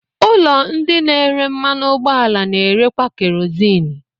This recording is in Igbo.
Ụlọ ndị na-ere mmanụ ụgbọala na-erekwa kerozini.